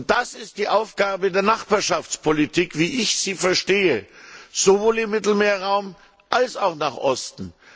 Das ist die Aufgabe der Nachbarschaftspolitik, wie ich sie verstehe, sowohl im Mittelmeerraum als auch nach Osten.